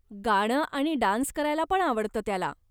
गाणं आणि डान्स करायला पण आवडतं त्याला.